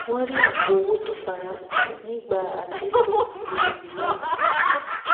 wọn rí apò owó tó farasin nígbà àtètò ìwé ìgbéyàwó